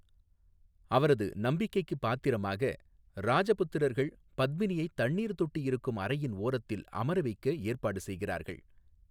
அவரது நம்பிக்கைக்குப் பாத்திரமாக ராஜபுத்திரர்கள் பத்மினியைத் தண்ணீர் தொட்டி இருக்கும் அறையின் ஓரத்தில் அமர வைக்க ஏற்பாடு செய்கிறார்கள்.